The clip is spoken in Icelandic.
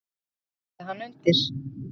Svo skrifaði hann undir.